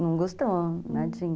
Não gostou, nadinha, hum.